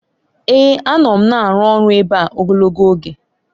Èè! Anọ m na-arụ ọrụ ebe a ogologo oge.